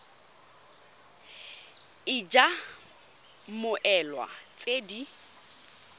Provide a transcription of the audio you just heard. id ya mmoelwa tse di